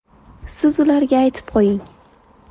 Siz ularga aytib qo‘ying.